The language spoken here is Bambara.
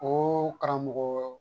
O karamɔgɔ